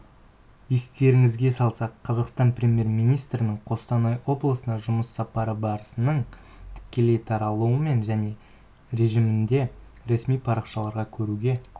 естеріңізге салсақ қазақстан премьер-министрінің қостанай облысына жұмыс сапары барысының тікелей таратылымын және режимінде ресми парақшаларда көруге